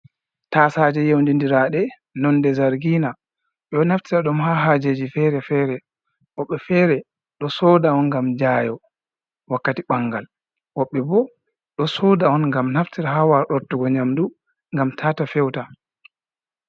Tasta Jeff yeundi dirade nonde zargina beo naftira ɗum ha hajeji fere-fere wobbe fere do soda on gam jayo wakkati ɓangal wobbe bo do soda on gam naftira ha warortugo nyamdu gam tata fewta.